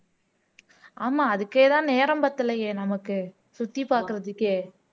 ஆமா அதுக்கேதான் நேரம் பத்தலையே நமக்கு சுத்தி பாக்குறதுக்கே